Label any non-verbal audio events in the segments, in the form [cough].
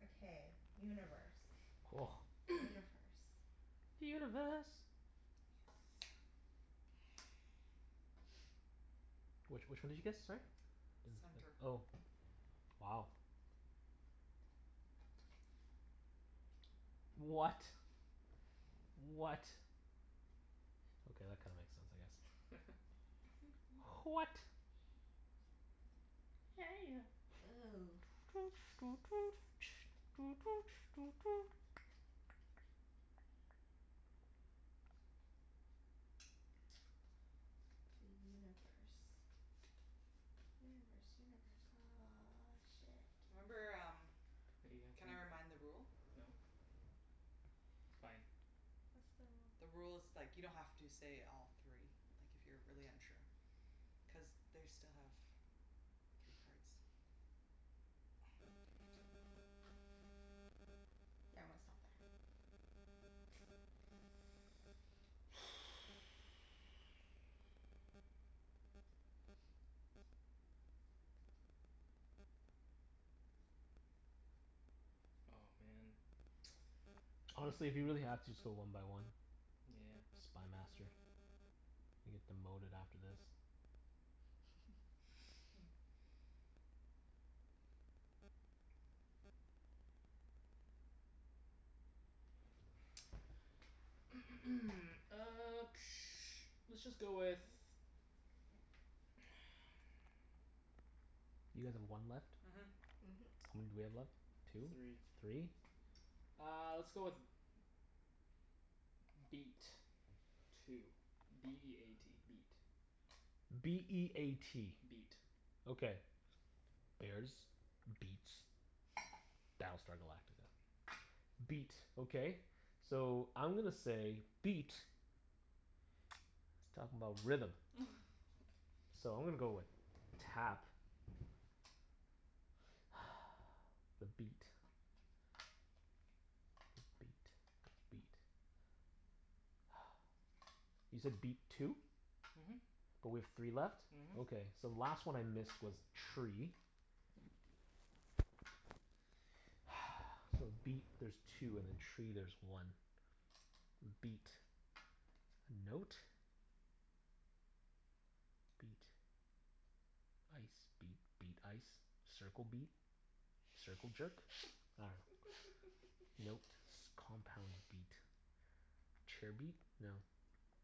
Okay, universe. [noise] [noise] Universe. Universe. Yes. [noise] Which which one did you guess, sorry? Does Center. it, oh, wow. What? What? Okay, that kinda makes sense, I guess. [laughs] H- what? Hey ya. Ooh. [noise] [noise] [noise] The universe. Universe, universe. Ah, shit. Remember um, Hey, you have to can I re- remind the rule? no. It's fine. What's the rule? The rule is like you don't have to say all three. Like, if you're really unsure. Cuz they still have three cards. [noise] Damn it. Yeah, I'm gonna stop there. [noise] Oh, man. Honestly, if you really have [noise] to, just go one by one. Nyeah. Spy Master. You get demoted after this. [laughs] Hmm. [noise] [noise] Uh [noise] let's just go with [noise] You guys have one left? Mhm. Mhm. How many do we have left? Three. Two? Three? Uh, let's go with beat. Two. B e a t. Beat. B e a t. Beat. Okay. Bears. Beats. Battlestar Galactica. Beat. Okay. So, I'm gonna say beat is talkin' 'bout rhythm. [laughs] So I'm gonna go with tap. [noise] The beat. The beat. The beat. [noise] You said beat two? Mhm. But we have three left? Mhm. Okay, so the last one I missed was tree. [noise] So beat there's two, and then tree there's one. M- beat. Note. Beat. Ice. Beat. Beat. Ice. Circle beat. Circle jerk? Nah. [laughs] Note. S- compound [laughs] [laughs] beat. Chair beat? No.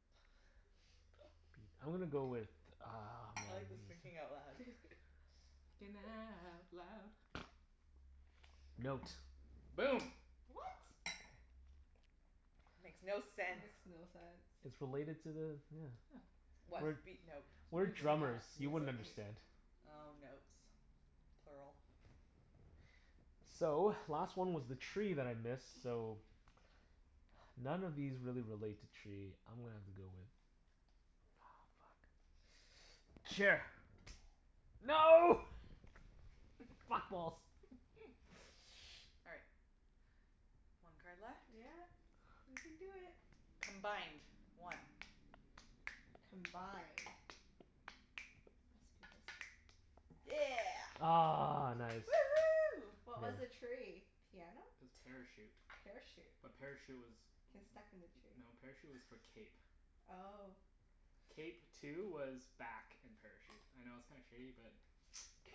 [laughs] Beat. I'm gonna go with uh I like this [inaudible] thinking out loud. [noise] Thinking out [laughs] loud. Note. Boom. What? Makes no That sense. makes no It's sense. related to the, yeah. Yeah. What? We're Beat note? we're drummers. Mus- You music wouldn't music. understand. [inaudible] Oh, notes. Plural. So, last one was the tree that I missed, so [noise] none of these really relate to tree. I'm gonna have to go with Aw, fuck. Chair. No! Fat balls! [laughs] All right. One card left. Yeah. We can do it. Combined. One. Combined. Must be this one. Yeah. Ah, nice. Woohoo. What was [noise] the tree? Piano? Parachute. Parachute? A parachute was, Can stuck in the tree? no, parachute was for cape. Oh. Cape two was back and parachute. I know it's kinda shitty but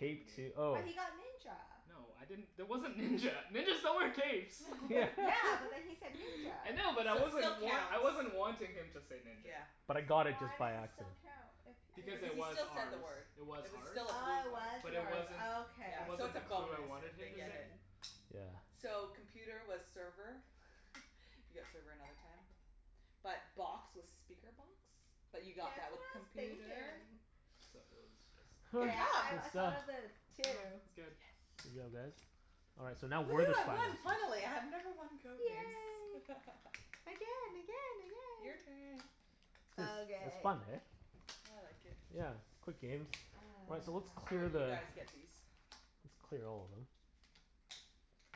what two oh. But he got ninja. No, I didn't, there wasn't ninja. Ninjas don't wear capes. [laughs] Yeah. Yeah, but then he [laughs] said [laughs] ninja. I know but I So it still wasn't wan- counts. I wasn't wanting him to say ninja. Yeah. But I got it Why just does by it accident. still count, if Because Cuz if it he [inaudible] he was still said the ours. word. It was It was ours. still a blue Oh, it card. was But it yours. wasn't, Oh okay. it Yeah. So wasn't it's a the clue I bonus wanted if they him to get say. it. Mm. Yeah. So, computer was server. [laughs] You got server another time. But box was speaker box, but That's you what got that with I was computer. thinking. So, it was just [noise] K, Good job. I I That's done. thought of it [noise] too. It's good. Good Yes. job, guys. All right, so now we're Woohoo. the I Spy won, Masters. finally. I have never won Code Names. Yay. [laughs] Again, again, Your again! turn. It's it's Okay. fun, hey? I like it. Yeah. Quick games. All right, so let's Oh, clear right. Ah. You the guys get these. Let's clear all of them.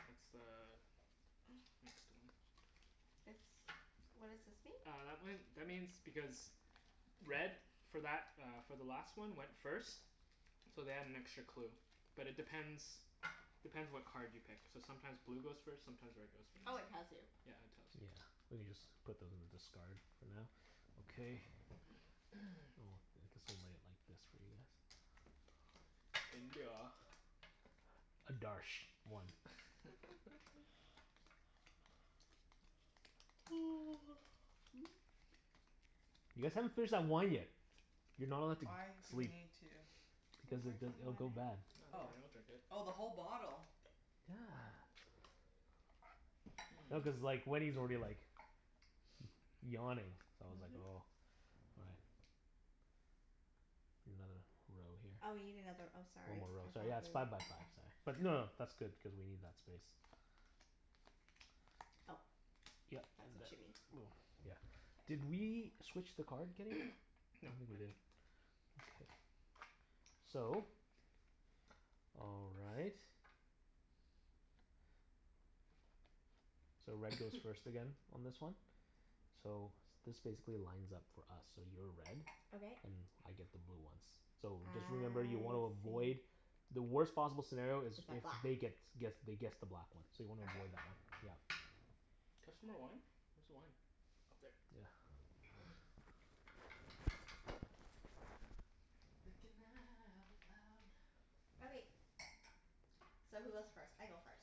That's the [noise] next one. This, what does this mean? Uh, that one, that means because red for that uh for the last one went first. So they had an extra clue. But it depends depends what card you pick. So sometimes blue goes first, sometimes red goes Oh, first. it tells you. Yeah, it tells you. Yeah. We can just put those in the discard for now. Okay. [noise] [noise] Oh, I guess we'll lay it like this for you guys. India. Adarsh. One. [laughs] [laughs] [noise] [noise] You guys haven't finished that wine yet. You're not allowed to g- Why do we sleep. need to I'm Because it working di- it'll on go bad. it. No, don't Oh. worry. I'll drink it. Oh, the whole bottle? Yeah. No, cuz [noise] Mmm. like Wenny's already like yawning. So I was like Mhm. oh all right. Another row here. Oh, we need another, oh One sorry. more row, I thought sorry. Yeah, it's five we by five, sorry. But no no, that's good, cuz we need that space. Oh, Yep. And that's what you then mean. we'll, yeah. Did K. we switch the card, Kenny? I No, don't think we I did. didn't. Okay. So all right. So red goes [noise] first again on this one. So this basically lines up for us. So you're red. Okay. And I get the blue ones. So, I just remember you wanna avoid see. The worst possible scenario Is is a if black they gets guess they guess the black one, so you wanna Okay. avoid that one. Yeah. Can I have some more wine? Where's the wine? Up there. Yeah. [noise] Thinking out loud. Okay. So who goes first? I go first.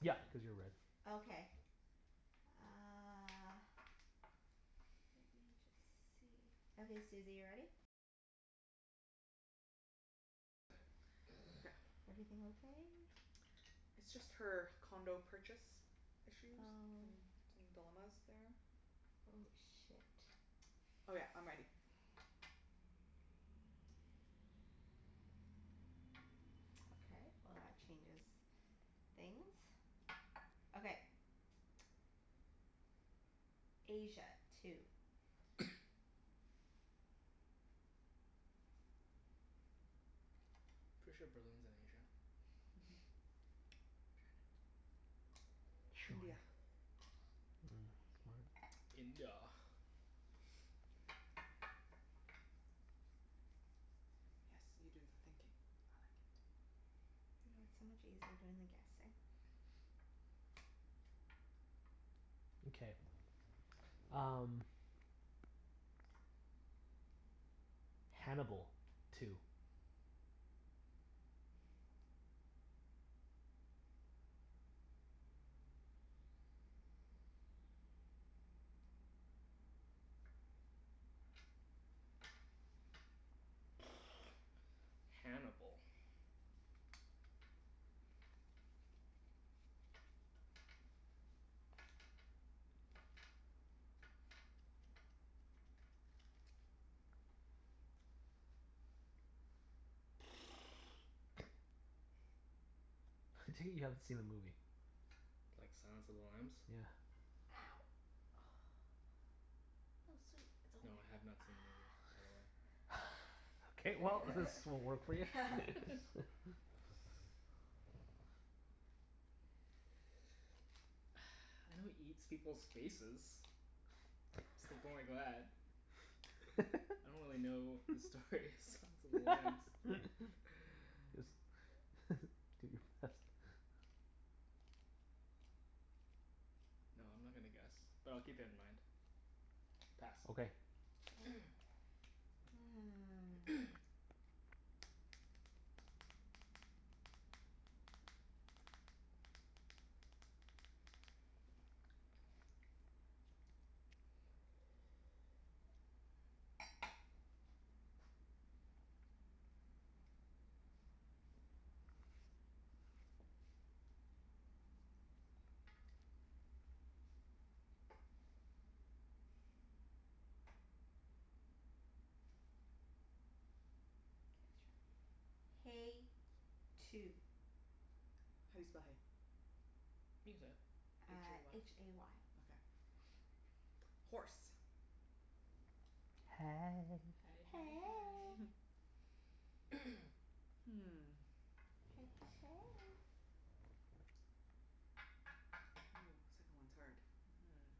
Yep, cuz you're red. Okay. Uh Okay. Everything okay? It's just her condo purchase issues Oh. and some dilemmas there. Oh, shit. Oh yeah, I'm ready. [noise] Okay, well that changes things. Okay. [noise] Asia. Two. [noise] Pretty sure Berlin's in Asia. Mhm. Trindia. [inaudible] Mm, smart. India. [noise] Yes. You do the thinking. I like it. I know, it's so much easier doing the guessing. Okay, um Hannibal. Two. [noise] [noise] Hannibal. [noise] I take it you haven't seen the movie? Like, Silence of the Lambs? Yeah. Ow. [noise] Oh, sweet. It's okay. No, I have not seen the movie, by the way. [noise] K, well this won't work for you. [laughs] Ah. [laughs] [laughs] [noise] I know he eats people's faces. [inaudible] I don't really know the story of Silence of the Lambs. [laughs] [laughs] Just [laughs] do your best. [noise] No, I'm not gonna guess. But I'll keep it in mind. Pass. Okay. K. [noise] [noise] [noise] [noise] K, let's try, hay. Two. How do you spell hay? You can say it. h Uh, a h y. a y. Okay. [noise] Horse. Hey. Hey hey hey. Hey. [laughs] [noise] Hmm. Hey hey hey. Ooh, second one's hard. Mhm.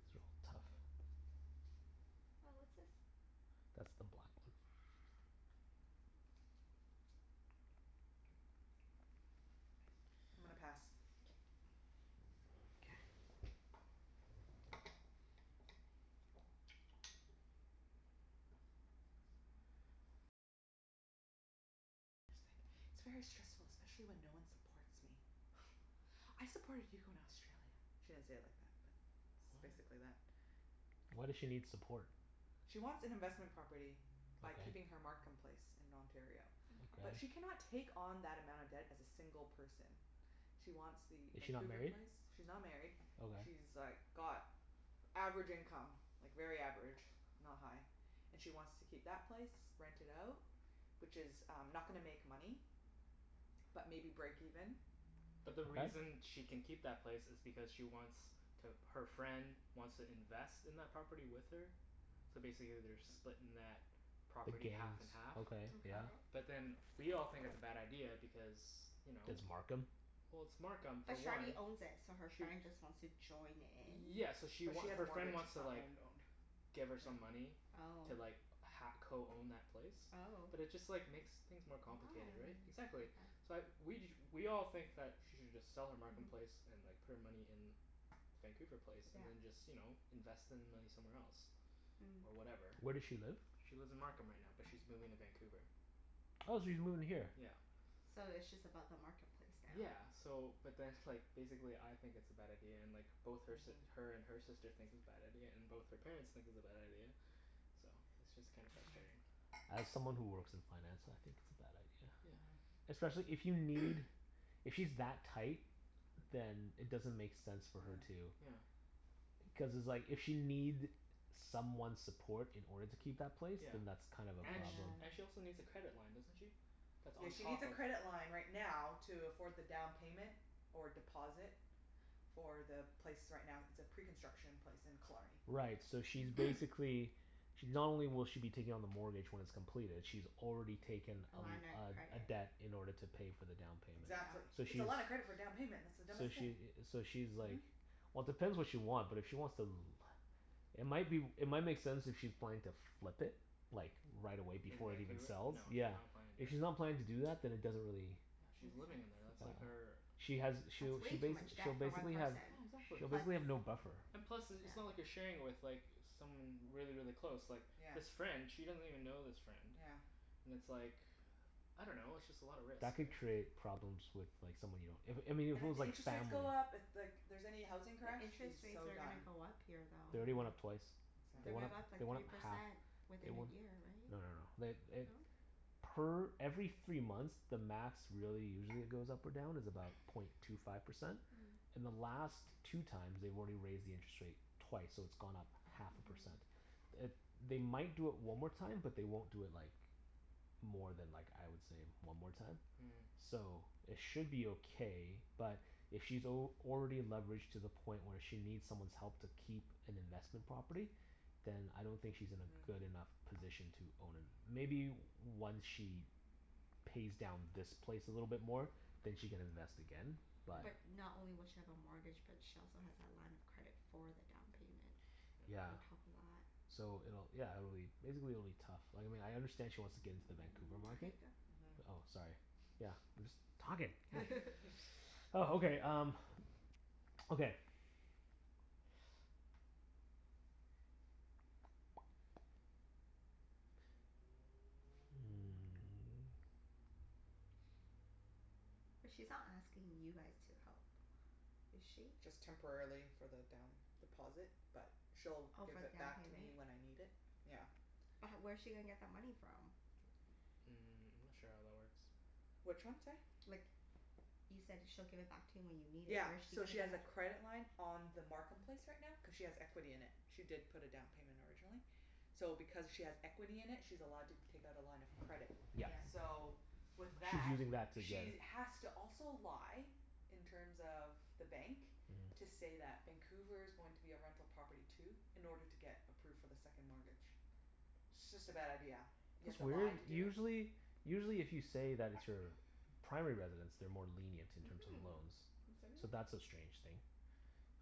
These are all tough. Oh, what's this? That's the black one. [noise] I'm gonna pass. K. K. [laughs] "I supported you in Australia." She didn't say it like that, but it's What? basically that. Why does she need support? She wants an investment property by Okay. keeping her Markham place in Ontario. Mkay. But Okay. she cannot take on that amount of debt as a single person. She wants the Is she not Vancouver married? place. She's not married. Okay. She's like got average income. Like very average. Not high. And she wants to keep that place. Rent it out. Which is um not gonna make money. But maybe break even. But the Okay. reason she can keep that place is because she wants to, her friend wants to invest in that property with her. So basically they're splitting that The property half gains. and half. Okay, Okay. yeah. But then we all think it's a bad idea because you know? It's Markham? Well, it's Markham, for But she already one. owns it, so her Sh- friend just wants to join in? yeah, so she But she wa- has a her friend mortgage. wants It's to not like owned owned. give her some Yeah. money Oh. to like ha- co-own that place. Oh. But it just like makes things more complicated, right? Why? Exactly. Okay. So I we ju- we all think that she should just sell her Markham place Mhm. and like put her money in Vancouver place Yeah. and then just, you know, invest the money somewhere else. Mm. Or whatever. Where does she live? She lives in Markham right now, but she's moving to Vancouver. Oh, she's moving here? Yeah. So it's just about the Markham place now? Yeah. So, but then like, basically I think it's a bad idea, and like both her si- Mhm. her and her sister thinks it's bad idea, and both her parents think it's a bad idea. So it's just kinda Mhm. frustrating. As someone who works in finance, I think it's a bad idea. Yeah. Mhm. Especially if you need [noise] If she's that tight then it doesn't make sense for Yeah. her to Yeah. Cuz it's like if she'll need someone's support in order to keep that place. Yeah. Then that's kind of a And sh- problem. and she Yeah. also needs a credit line, doesn't she? That's Yeah, on she needs top a of credit line right now to afford the down payment. Or deposit. For the place right now, it's a pre-construction place in Killarney. Right, so she's [noise] Mm. basically She, not only will she be taking on the mortgage when it's completed she's already taken A a line of l- a a credit. debt in order to pay for the down payment. Yeah. Exactly. So It's she's a lot of credit for down payment. That's the dumbest So thing. she i- so she's Mhm. like Well depends what she want, but if she wants to l- It might be w- It might make sense if she's planning to flip it. Like, right away In before it even Vancouver? No, sells. she's Yeah. not planning to If do that. she's not planning to do that then it doesn't really Yeah, Make she's living in sense. there. That's like Uh her She has That's she'll way she too bas- much she'll debt for one basically have person. Yeah, exactly. she'll basically have no Plus buffer. And plus, i- it's not like yeah. you're sharing it with like someone really, really close. Like Yeah. this friend she doesn't even know this friend. Yeah. And it's like, I don't know. It's just a lot of risk, That could right? create problems with like someone you don't if, I mean And if it if was the like interest rates family go up, if like here's any housing crash, The she's interest rates so are done. gonna go up here, They though. already went up Mhm. twice. They They're Mm. went gonna up, go up Exactly. they like went three up half. percent They within we- a year, no no no. right? They eh No? Per every three months the max really usually it goes up or down is about point two [noise] five percent. Mm. In the last two times they've already raised the interest rate twice, so it's gone up half a Mhm. percent. It, they might do it one more time, but they won't do it like more than like, I would say, one more time. Mhm. So, it should be okay but if she's al- already leveraged to the point where she needs someone's help to keep an investment property then I don't think she's in a Mhm. good enough position to own a Maybe once she pays down this place a little bit more. Then she can invest again Yeah. but But not only will she have a mortgage, but she also has that line of credit for the down payment. Yeah. On [noise] top of that. So it'll, yeah, it'll be, basically it'll be tough. Like, I mean I understand she wants to get into the Vancouver market Okay, go. Mhm. Oh, sorry. Yeah, I'm just talking. [noise] [laughs] [laughs] [noise] Oh, okay um okay [noise] Hmm. But she's not asking you guys to help, is she? Just temporarily for the down deposit, but she'll Oh, give for it the down back to payment? me when I need it. Yeah. But h- where's she gonna get that money from? Mm, I'm not sure how that works. Which one, sorry? Like, you said she'll give it back to you when you need it. Yeah. Where's she So gonna she has a credit line on the Markham place right now cuz she has equity in it. She did put a down payment originally. So because she has equity in it she's allowed to take out a line of credit. Yes. Yeah. So, with She's that using that to get she a has to also lie in terms of the bank to Mhm. say that Vancouver's going to be a rental property too. In order to get approved for the second mortgage. It's just a bad idea. You have That's to weird. lie to do it? Usually usually if you say that it's your [noise] primary residence they're more lenient in terms of Mhm. loans. So [inaudible] that's a strange thing.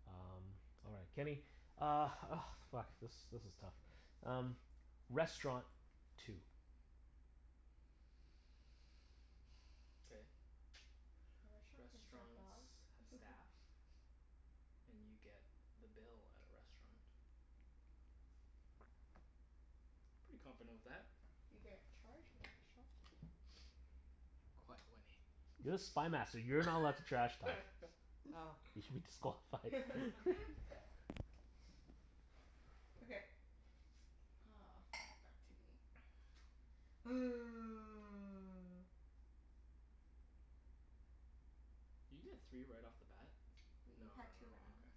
Um, all right. Kenny Uh, oh fuck, this this is tough. Um, restaurant. Two. K. [noise] A restaurant can serve Restaurants dog. have staff. [laughs] And you get the bill at a restaurant. Pretty confident with that. You get charged [inaudible] Quiet, Wenny. You're the Spy Master. You're not allowed to trash talk. [laughs] Oh. You should be disqualified. [laughs] [laughs] [laughs] [laughs] Okay. Oh, fuck. Back to me. [noise] [noise] Did you get three right off the bat? No no We've had two no, rounds. okay.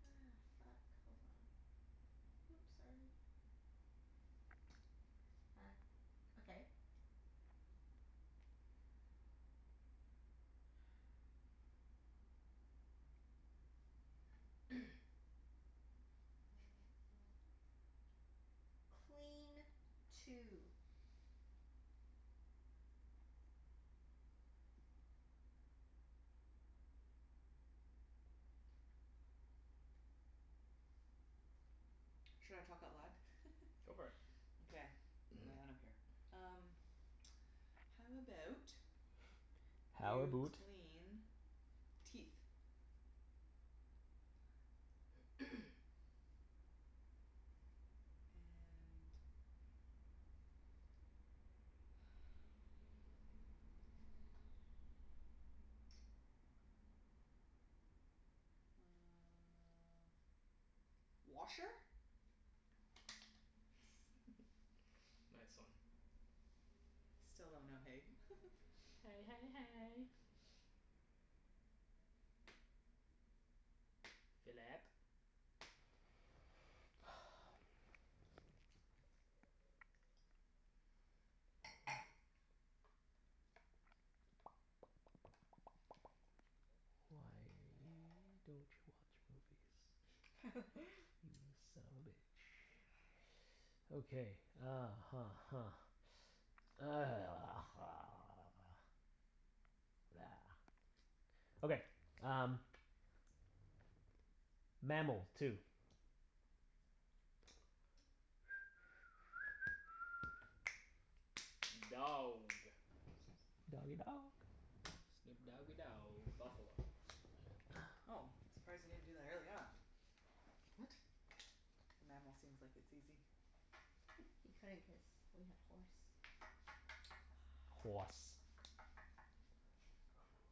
Ah, fuck. Hold on. Whoops, sorry. [noise] Back, okay. [noise] [laughs] Clean. Two. Should I talk out loud? Go [laughs] for it. Okay. Yeah, I don't care. Um [noise] [noise] How about How you aboot clean teeth? [noise] And [noise] uh washer? [laughs] Yes. Nice one. Still don't know hay. [laughs] Hey hey hey. [noise] Phillip. [noise] [noise] Why don't you watch movies? [laughs] You son of a bitch. Okay, uh huh huh. [noise] [noise] [noise] Okay, um Mammal. Two. [noise] Dog. Doggie dog. Snoop doggie dow Buffalo. Oh, surprised you didn't do that earlier on. What? The mammal seems like it's easy. He [laughs] couldn't cuz we had horse. Hoarse.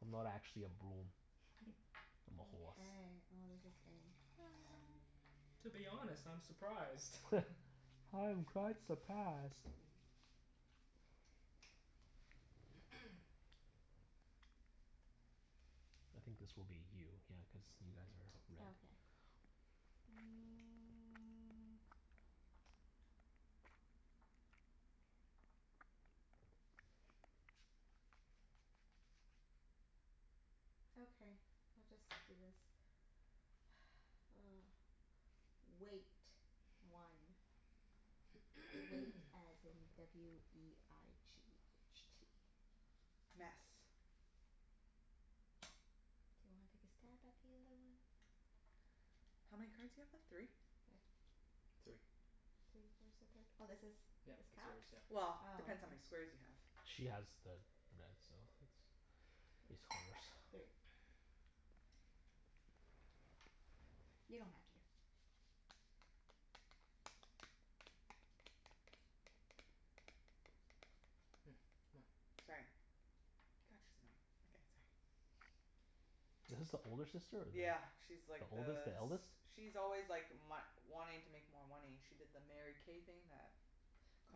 I'm not actually a broom. [laughs] I'm a horse. Mkay. Oh, this is getting hard. To be honest, I'm surprised. [laughs] [laughs] I'm quite surprised. [laughs] [noise] I think this will be you. Yeah, cuz you guys are red. Okay. Mm. [noise] Okay, we'll just do this. [noise] Weight. One. Weight [noise] as in w e i g h t. Mess. Do you wanna take a stab at the other one? How many cards you have left? Three? [noise] Three. Three? Where's the third? Oh, this is, Yep. this It's counts? yours. Yep. Oh. Well, depends how many squares you have. She has the red so it's [noise] it's horse. [noise] Three. [noise] You don't have to. Hmm. Come on. Sorry. God, she's annoying. Okay, sorry. [noise] [noise] Is this the older sister or the Yeah, she's like The oldest? the The eldest? s- she's always like my- wanting to make more money. She did the Mary K thing that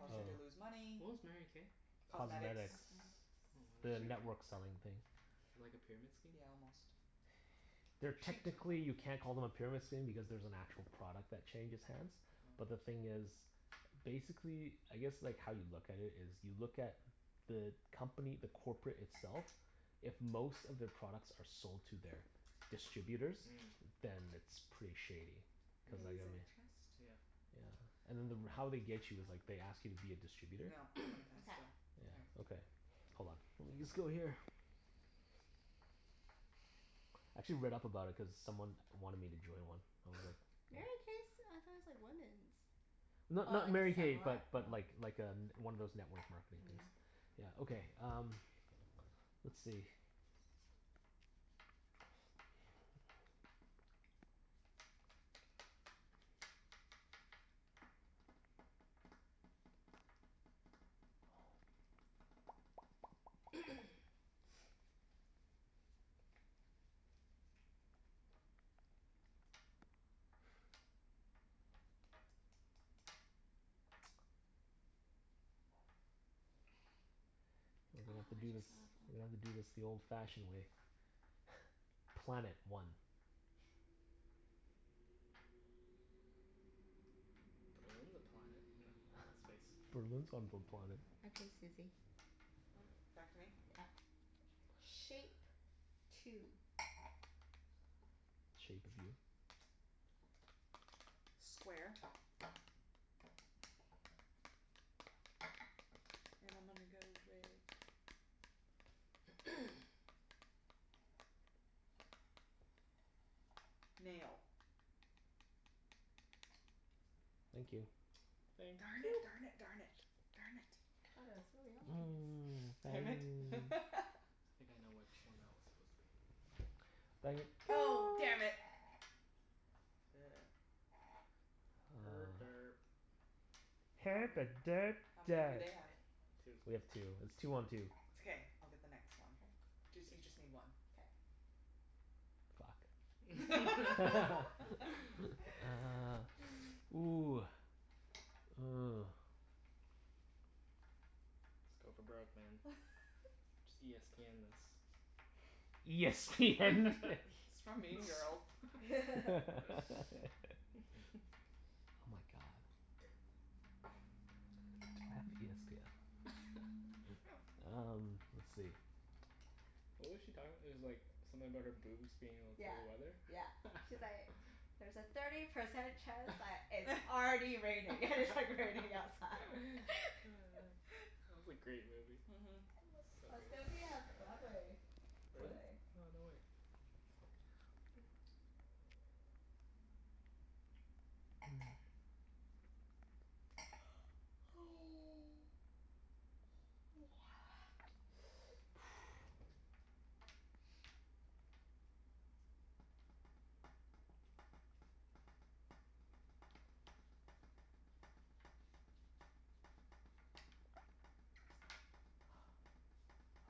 Oh, her to Oh. lose Oh. money. what was Mary K? Cosmetics. Cosmetics. Cosmetics. Oh, The She network selling thing. [inaudible] like a pyramid scheme? Yeah, almost. They're, technically you [inaudible] can't call them a pyramid scheme because there's an actual product that changes hands. But the Oh. thing is basically, I guess like how you look at it is you look at the company, the corporate itself if most of their products are sold to their distributors Mm. then it's pretty shady. [inaudible] Cuz like Mm, I in a mean chest. yeah. Yeah. And then the r- how they get you is like they ask you to be a distributor. No, I'm gonna [noise] pass Mkay. still. All right. Yeah. Okay. Hold on. Let me just go here. I actually read [noise] up about it cuz someone wanted me to join one. I was like [noise] Mary K's, I thought it's like women's? Oh, Not I not Mary guess K similar? but Oh. but like like a n- one of those network marketing Mm. things. Yeah, okay um let's see [noise] [noise] [noise] Oh, We're gonna have to I do this just thought of We're gonna one. have to do this the old fashioned way. [laughs] Planet. One. [noise] Berlin's a planet. No. Space. [laughs] Berlin's on a planet. Okay, Susie. Hmm? Back to me? Yep. Shape. [noise] Two. Shape of you. Square. And I'm gonna go with [noise] Nail. Thank you. Thank Darn it, you darn p- it, darn it. Darn it. Thought it was really obvious. [noise] Damn it. [noise] [laughs] I think I know which one that was supposed to be. Oh No. [inaudible] damn it. [noise] Er Uh derp. How many, how many do they have? [noise] Two. We have two. It's two one two. It's okay. I'll get the next K. one. Jus- you just Yes. need one. K. Fuck. [laughs] [laughs] Ah, [laughs] ooh. Oh. Let's go for broke, man. [laughs] Just e s p end this. E s p end this. It's from Mean [laughs] Girls. [laughs] [laughs] Oh my god. [inaudible] [laughs] Um, let's see. What was she talking? It's like something about her boobs being able to Yeah, tell the weather? yeah. She's like [laughs] "There's a thirty percent [laughs] chance That that it's already raining." And it's like raining outside. [laughs] [laughs] was a great movie. Mhm. I So love, good. it's gonna be a Broadway Really? play. Oh, no way. [inaudible] [noise] [noise]